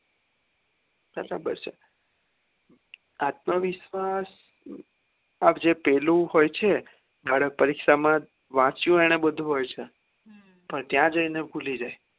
બરાબર છે આત્મવિશ્વાસ જે પેલું હોય છે બાળક પરીક્ષા માં વાચ્યું નેને બધું હોય છે પણ ત્યાં જઈને ભૂલી જાય